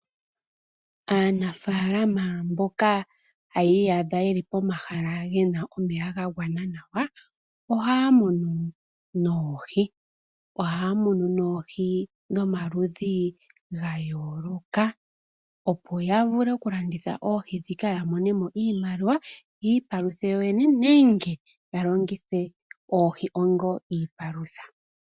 Aanafalama mboka haya iyadha ye li pomahala gena omeya ga gwana nawa, ohaya munu noohi. Ohaya munu noohi dhomaludhi ga yooloka, opo ya vule okulanditha oohi dhikaya monemo iimaliwa, yiipaluthe yoyene nenge ya longuthe oohi onga iipalutha.